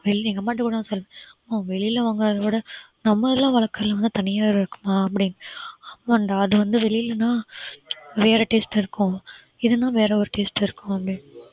வெளியில எங்க அம்மா கிட்ட கூட நான் சொல்லுவேன் அம்மா வெளியில வாங்குறதை விட நம்ம இதுல வளர்க்கிறது வந்து தனியா இருக்குமா அப்படின்னு ஆமாடா அது வந்து வெளியிலன்னா வேற taste இருக்கும் இதுனா வேற ஒரு taste இருக்கும் அப்படின்னு